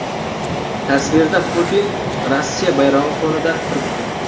Tasvirda Putin Rossiya bayrog‘i fonida turibdi.